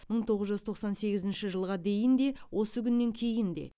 мың тоғыз жүз тоқсан сегізінші жылға дейін де осы күннен кейін де